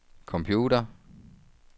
computer